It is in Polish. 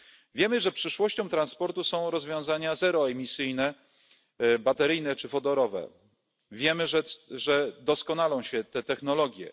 Wiemy, że przyszłością transportu są rozwiązania zeroemisyjne, bateryjne czy wodorowe, wiemy, że doskonalą się te technologie.